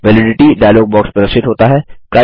validity dialog box प्रदर्शित होता है